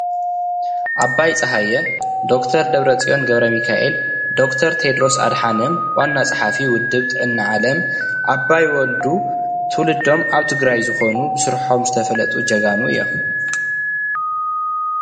ደ/ር ደብረጽዮን :ኣባይ ወልዱ: ደ/ር ቴድሮስ ካልኦትን ይረኣዩ